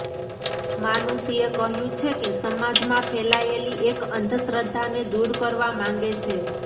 માનુષીએ કહ્યુ છે કે સમાજમાં ફેલાયેલી એક અંધશ્રદ્ધાને દૂર કરવા માંગે છે